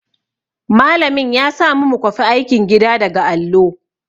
Malamin ya samu mu kwafi aikin gida daga allo.